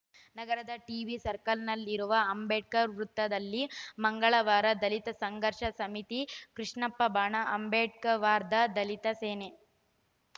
ನಗರದ ಟಿಬಿಸರ್ಕಲ್‌ನಲ್ಲಿರುವ ಅಂಬೇಡ್ಕರ್‌ ವೃತ್ತದಲ್ಲಿ ಮಂಗಳವಾರ ದಲಿತ ಸಂಘರ್ಷ ಸಮಿತಿ ಕೃಷ್ಣಪ್ಪ ಬಣ ಅಂಬೇಡ್ಕರ್‌ವಾದ ದಲಿತ ಸೇನೆ